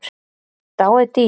Dáið dýr.